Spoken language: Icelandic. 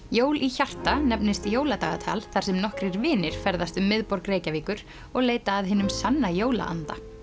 jól í hjarta nefnist jóladagatal þar sem nokkrir vinir ferðast um miðborg Reykjavíkur og leita að hinum sanna jólaanda